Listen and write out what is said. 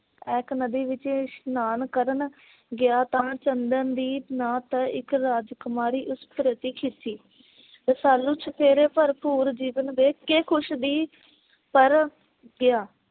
ਐਕ ਨਦੀ ਵਿਚ ਇਸ਼ਨਾਨ ਕਰਨ ਗਿਆ ਤਾਂ ਚੰਦਨਦੀਪ ਨਾਤ ਇਕ ਰਾਜਕੁਮਾਰੀ ਉਸ ਪ੍ਰਤੀ ਖਿੱਚੀ। ਰਸਾਲੂ ਘਰ ਭਰਪੂਰ ਜੀਵਨ ਦੇ ਕੇ ਖੁਸ਼ ਦੀ ਪਰ ਗਿਆ